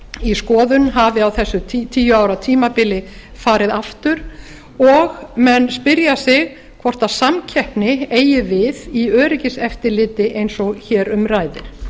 í skoðun hafi á þessu tíu ára tímabili farið aftur og menn spyrja sig hvort samkeppni eigi við í öryggiseftirliti eins og hér um ræðir